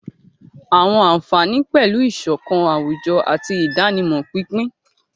Àwọn àfààní pẹ̀lú ìṣọ̀kan àwùjọ àti ìdánimọ̀ pínpín.